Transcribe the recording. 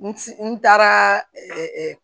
N n taara